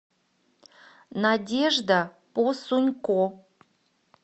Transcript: надежда посунко